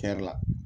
Kɛ la